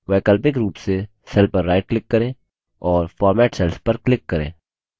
वैकल्पिक रूप से cell पर right click करें और format cells पर click करें